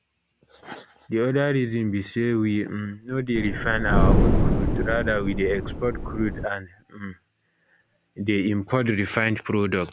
di oda reason be say we um no dey refine our own crude rather we dey export crude and um dey import refined products